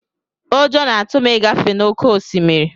Ụjọ na-atụ m ịgafe n'oké osimiri.